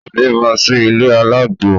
Ó bímọ sí ilé alágbo